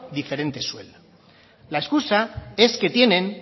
diferente sueldo la excusa es que tienen